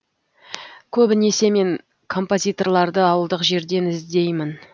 көбінесе мен компазиторларды ауылдық жерден іздеймін